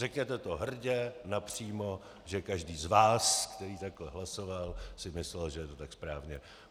Řekněte to hrdě, napřímo, že každý z vás, který takhle hlasoval, si myslel, že je to tak správně.